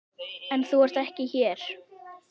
En þú ert ekki hér.